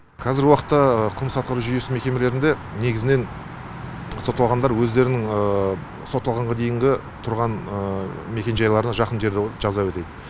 қазіргі уақытта қылмыстық атқару жүйесі мекемелерінде негізінен сотталғандар өздерінің сотталғанға дейінгі тұрған мекенжайларына жақын жерде жаза өтейді